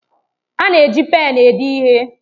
A na-eji pén ede ihe.